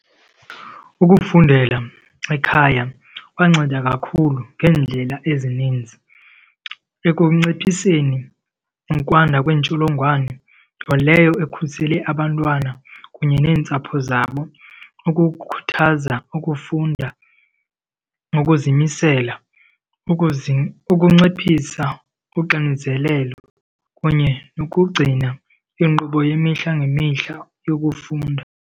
Ukufundela ekhaya kwanceda kakhulu ngeendlela ezininzi ekunciphiseni ukwanda kweentsholongwane, nto leyo ekhusele abantwana kunye neentsapho zabo, ukukhuthaza ukufunda nokuzimisela, ukunciphisa uxinezelelo kunye nokugcina inkqubo yemihla ngemihla yokufunda.